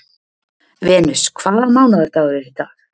Venus, hvaða mánaðardagur er í dag?